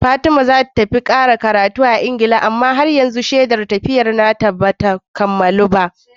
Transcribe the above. Fatima zata tafi ƙara karatu Engila amma har yanzu shedar tafiyar ta bata kammalu ba